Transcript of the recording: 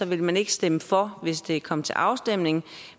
vil man ikke stemme for hvis det kommer til afstemning